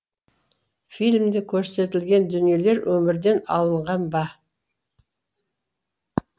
фильмде көрсетілген дүниелер өмірден алынған ба